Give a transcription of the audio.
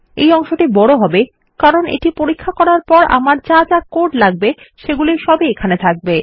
এই অংশটি বড় হবে কারণ এটি পরীক্ষা করার পর আমার যা যা কোড লাগবে সেগুলি সব ই এখানে যাবে